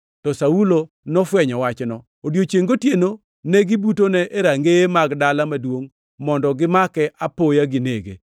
to Saulo nofwenyo wachno. Odiechiengʼ gotieno ne gibutone e rangeye mag dala maduongʼ mondo gimake apoya ginege,